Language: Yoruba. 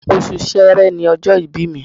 Oṣù Sẹẹrẹ ni ọjọ́ ìbí mi